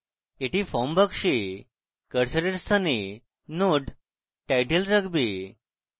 এটি form box কার্সারের স্থানে node: title রাখবে